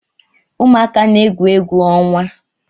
Ụmuaka na-egwu egwu ọnwa